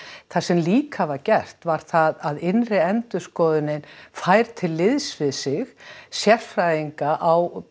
það sem líka var gert var það að innri endurskoðunin fær til liðs við sig sérfræðinga á